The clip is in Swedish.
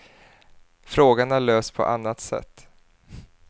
Frågan har lösts på annat sätt.